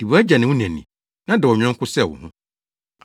Di wʼagya ne wo na ni, na dɔ wo yɔnko sɛ wo ho!”